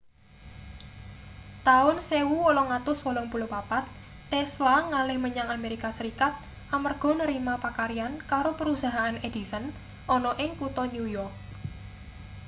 taun 1884 tesla ngalih menyang amerika serikat amarga narima pakaryan karo perusahaan edison ana ing kutha new yok